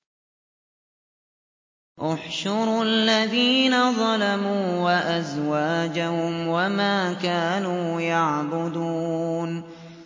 ۞ احْشُرُوا الَّذِينَ ظَلَمُوا وَأَزْوَاجَهُمْ وَمَا كَانُوا يَعْبُدُونَ